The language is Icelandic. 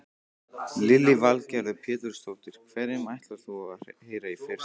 Lillý Valgerður Pétursdóttir: Hverjum ætlar þú að heyra í fyrst?